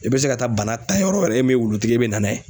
I bɛ se ka taa bana ta yɔrɔ wɛrɛ e min ye wulutigi ye e bɛ na n'a ye.